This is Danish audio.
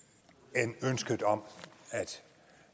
end ønsket om